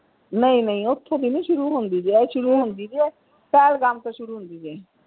ਨਹੀਂ ਨਹੀਂ ਓਥੇ ਨਹੀਂ ਸ਼ੁਰੂ ਹੁੰਦੀ ਇਹ ਸ਼ੁਰੂ ਹੁੰਦੀ ਜੇ ਪਹਿਲਗਾਮ ਤੋਂ ਸ਼ੁਰੂ ਹੁੰਦੀ ਜੇ।